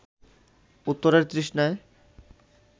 উত্তরের তৃষ্ণায়